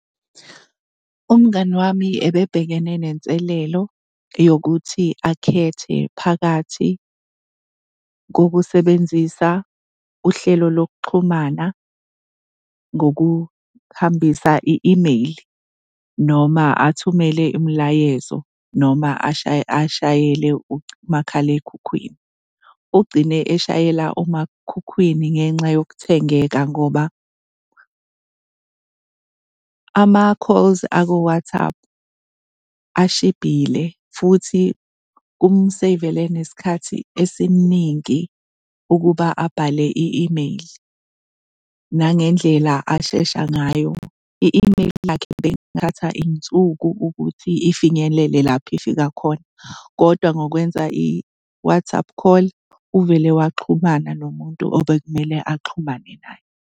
Umngani wami ebebhekene nenselelo yokuthi akhethe phakathi kokusebenzisa uhlelo lokuxhumana ngokuhambisa i-email noma athumele imliayezo, noma ashayele umakhalekhukhwini. Ugcine eshayela umakhukhwini ngenxa yokuthengeka ngoba ama-calls ako-WhatsApp ashibhile futhi kumseyivele nesikhathi esiningi ukuba abhale i-email, nangendlela ashesha ngayo. I-email yakhe beyingithatha iy'nsuku ukuthi ifinyelele lapho ifika khona kodwa ngokwenza i-WhatsApp call uvele waxhumana nomuntu obekumele axhumane naye.